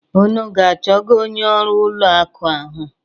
Unu aga-achọga onye ọrụ ụlọ akụ ahụ?